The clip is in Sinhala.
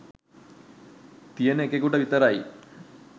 තියෙන එකෙකුට විතරයි.